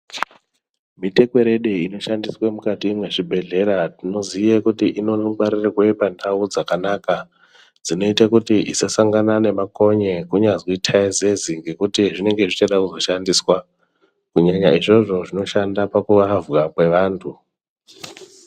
Mitekwerede inoshandiswe mukati mwezvibhedhlera, tinoziye kuti inongwarirwe pandau dzakanaka, dzinoite kuti isasangana nemakonye kunyazi thaizezi ,nekuti zvinenge zvichade kuzoshandiswa, kunyanya izvozvo zvinoshandiswa pakuavhwa kwevantu.